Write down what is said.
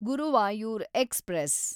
Guruvayur express